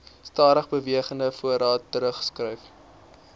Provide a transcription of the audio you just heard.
stadigbewegende voorraad teruggeskryf